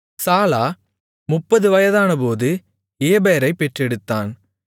சாலா 30 வயதானபோது ஏபேரைப் பெற்றெடுத்தான்